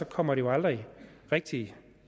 kommer det jo aldrig rigtig